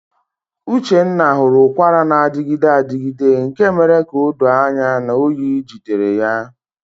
Uchenna hụrụ ụkwara na-adịgide adịgide nke mere ka o doo anya na oyi jidere ya.